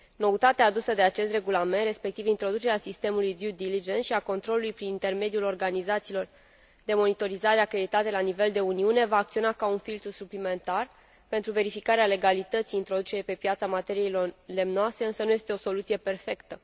Noutatea adusă de acest regulament, respectiv introducerea sistemului și a controlului prin intermediul organizațiilor de monitorizare acreditate la nivel de Uniune, va acționa ca un filtru suplimentar pentru verificarea legalității introducerii pe piața materiilor lemnoase, însă nu este o soluție perfectă.